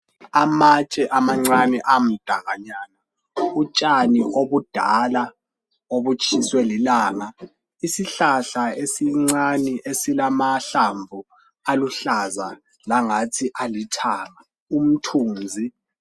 Amatshe amancane amdakanyana, utshani obudala obutshiswe lilanga. Isihlahla esincane esilamahlamvu aluhlaza langathi alithanga, umthunzi